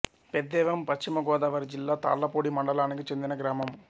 పెద్దేవం పశ్చిమ గోదావరి జిల్లా తాళ్ళపూడి మండలానికి చెందిన గ్రామం